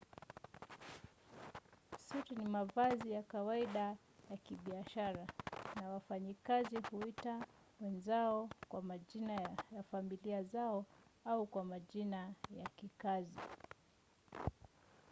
suti ni mavazi ya kawaida ya kibiashara na wafanyikazi huita wenzao kwa majina ya familia zao au kwa majina ya kikazi